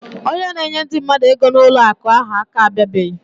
Onye na enye ndi mmadu ego na ụlọ akụ ahu aka abia bere.